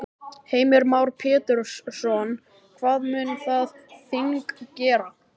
Heimir Már Pétursson: Hvað mun það þing gera?